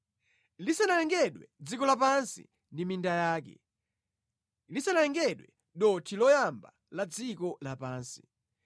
lisanalengedwe dziko lapansi ndi minda yake; lisanalengedwe dothi loyamba la dziko lapansi.